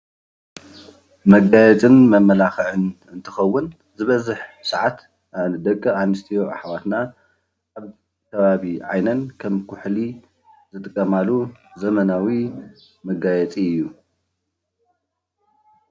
መጋየፅን መመላኽዕን እንትኸውን ዝበዝሕ ሰዓት ደቂኣንስትዮ ኣሕዋትና ኣብ ከባቢ ዓይነን ከም ኩሕሊ ዝጥቀማሉ ዘመናዊ መጋየፂ እዩ ።